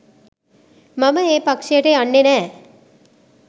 මම ඒ පක්‍ෂයට යන්නේ නෑ